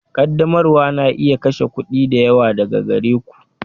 Ƙaddamarwa na iya kashe kuɗi da yawa daga gare ku.